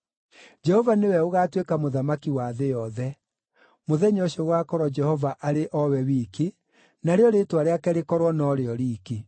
Jehova nĩwe ũgaatuĩka mũthamaki wa thĩ yothe. Mũthenya ũcio gũgaakorwo Jehova arĩ o we wiki, narĩo rĩĩtwa rĩake rĩkorwo no rĩo riiki.